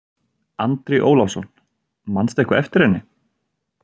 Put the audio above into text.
Andri Ólafsson: Manstu eitthvað eftir henni?